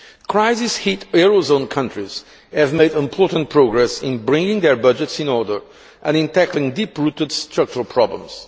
Crisis hit Eurozone countries have made important progress in bringing their budgets in order and in tackling deep rooted structural problems.